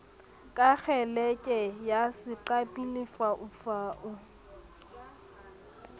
ka kgeleke ya seqapi lefaufau